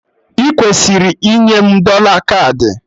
Ị kwesịrị inye m dọla kaadị!